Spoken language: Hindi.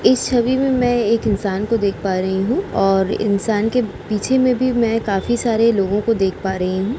इस छवि में मै एक इंसान को देख पा रही हूँ और इंसान के पीछे में भी मैं काफी सारे लोगो को देख पा रही हूँ।